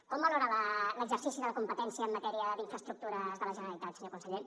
com valora l’exercici de la competència en matèria d’infraestructures de la generalitat senyor conseller